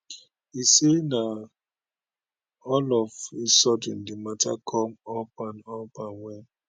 e say na all of a sudden di mata come up and up and wen